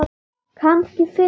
Kannski fyndið.